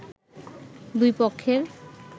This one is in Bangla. দুই পক্ষের